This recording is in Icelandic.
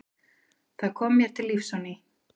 Það kom mér til lífs á ný.